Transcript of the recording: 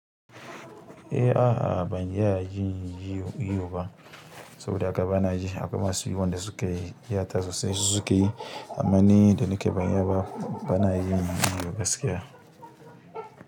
Eh a a ban iya yin iwo ba saboda haka bani yin shi akwai masu yi wanda suka iya ta, sosai su suke yi. Amma ni da nike ban iya ba bana yin iwo gaskiya.